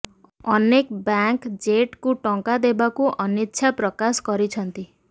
ଅନେକ ବ୍ୟାଙ୍କ ଜେଟ୍କୁ ଟଙ୍କା ଦେବାକୁ ଅନିଚ୍ଛା ପ୍ରକାଶ କରିଛନ୍ତି